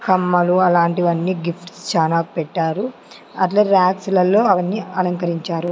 హామ్ మగువ లాంటివి అన్నీ గిఫ్ట్ స్ చానా పెట్టారు అట్లే రాక్స్ లలో అవి అన్నీ అలంకరించారు.